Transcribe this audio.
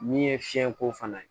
Min ye fiɲɛko fana ye